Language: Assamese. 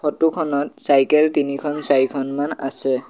ফটো খনত চাইকেল তিনিখন চাৰিখনমান আছে।